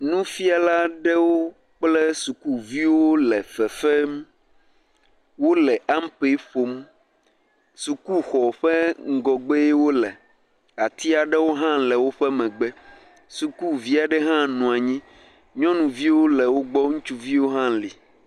Nufiala aɖewo kple sukuvi le fefem, wole ampe ƒom, sukuxɔ ƒe ŋgɔgbee wole, ati aɖewo hã le wo megbe, sukuvi aɖe hã nɔ anyi, nyɔnuviwo le wo gbɔ, ŋutsuviwo hã le.